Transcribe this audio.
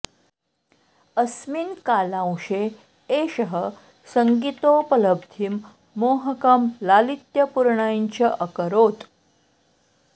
अस्मिन् कालांशे एषः सङ्गीतोपलब्धिं मोहकं लालित्यपूर्णं च अकरोत्